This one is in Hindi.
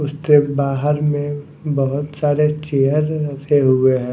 उसके बाहर में बहुत सारे चेयर रखे हुए हैं।